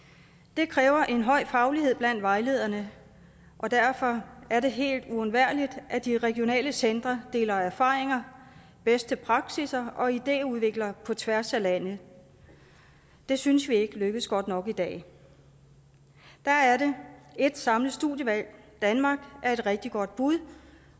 det kræver en høj faglighed blandt vejlederne og derfor er det helt uundværligt at de regionale centre deler erfaringer bedste praksisser og idéudvikler på tværs af landet det synes vi ikke lykkes godt nok i dag der er det et samlet studievalg danmark er et rigtig godt bud